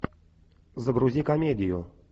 загрузи комедию